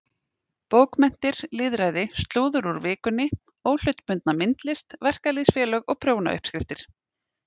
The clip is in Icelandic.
Bókmenntir, lýðræði, slúður úr Vikunni, óhlutbundna myndlist, verkalýðsfélög og prjónauppskriftir.